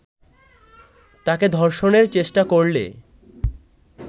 তাকে ধর্ষণের চেষ্টা করলে